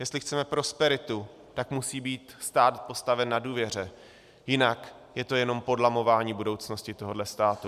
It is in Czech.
Jestli chceme prosperitu, tak musí být stát postaven na důvěře, jinak je to jenom podlamování budoucnosti tohohle státu.